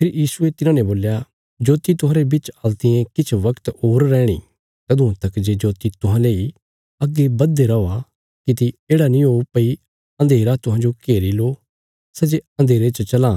फेरी यीशुये तिन्हांने बोल्या जोति तुहांरे बिच हल्तियें किछ वगत होर रैहणी तदुआं तका जे जोति तुहांले इ अग्गे बधदे रौआ किति येढ़ा नीं हो भई अन्धेरा तुहांजो घेरी लो सै जे अन्धेरे च चलां